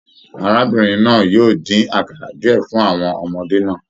Arábìnrin náà yóò din àkara diẹ fún àwọn ọmọdé náà.